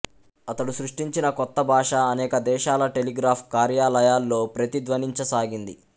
అతడు సృష్టించిన కొత్త భాష అనేక దేశాల టెలిగ్రాఫ్ కార్యాలయాల్లో ప్రతిధ్వనించసాగింది